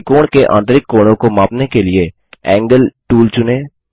त्रिकोण के आंतरिक कोणों को मापने के लिए एंगल टूल चुनें